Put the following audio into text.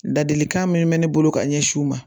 Ladilikan min mɛ ne bolo ka ɲɛsin u ma